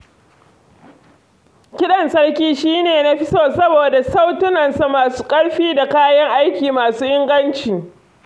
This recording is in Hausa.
Kiɗan sarki shi ne na fi so saboda sautunansa masu ƙarfi da kayan aikinsa masu inganci.